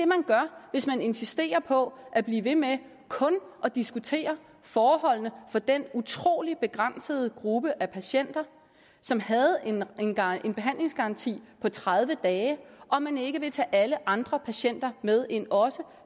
man gør hvis man insisterer på at blive ved med kun at diskutere forholdene for den utrolig begrænsede gruppe af patienter som havde en behandlingsgaranti på tredive dage og man ikke vil tage alle andre patienter med ind også